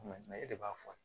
e de b'a fɔ